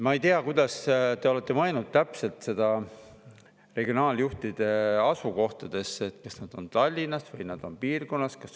Ma ei tea, kuhu te olete mõelnud nende regionaaljuhtide asukohad: kas nad on Tallinnas või nad on piirkonnas.